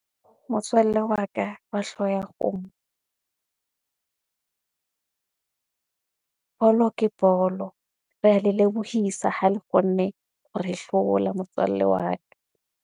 Motswalle wa ka wa hlooho ya kgomo, bolo ke bolo. Re ya le lebohisa ha le kgonne hore hlola motswalle wa ka.